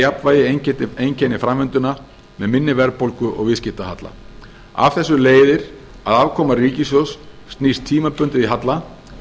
jafnvægi einkenni framvinduna með minni verðbólgu og viðskiptahalla af þessu leiðir að afkoma ríkissjóðs snýst tímabundið í halla